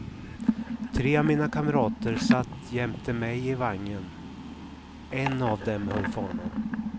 Tre av mina kamrater satt jämte mig i vagnen, en av dem höll fanan.